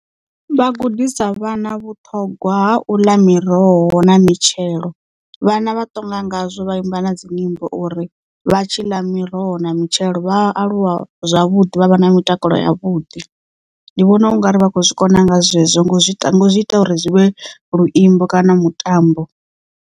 Vha gudisa vhana vhuṱhogwa ha u ḽa miroho na mitshelo vhana vha ṱonga ngazwo vha imba na dzinyimbo uri vha tshi ḽa miroho na mitshelo vha aluwa zwavhuḓi vha vha na mitakalo yavhuḓi ndi vhona ungari vha khou zwi kona nga zwezwo ngo zwi ita ngo zwi ita uri zwivhe luimbo kana mutambo.